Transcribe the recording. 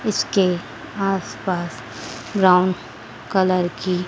इसके आसपास brown colour की--